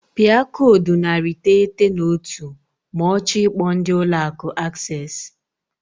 Pịa koodu narị iteghete na otu ma ọ chọọ ikpo ndị Ụlọ Akụ Access.